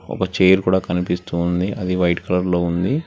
ఒక చైర్ కూడా కనిపిస్తోంది అది వైట్ కలర్ లో ఉంది.